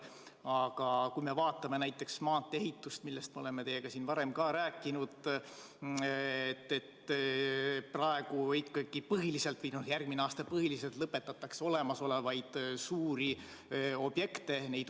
Aga kui me vaatame näiteks maantee-ehitust, millest me oleme teiega siin varem ka rääkinud, siis praegu ja järgmine aasta põhiliselt lõpetatakse olemasolevaid suuri objekte.